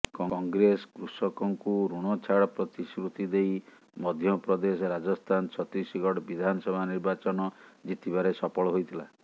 କଂଗ୍ରେସ କୃଷକଙ୍କୁ ଋଣ ଛାଡ଼ ପ୍ରତିଶ୍ରୁତି ଦେଇ ମଧ୍ୟପ୍ରଦେଶ ରାଜସ୍ଥାନ ଛତିଶଗଡ଼ ବିଧାନସଭା ନିର୍ବାଚନ ଜିତିବାରେ ସଫଳ ହୋଇଥିଲା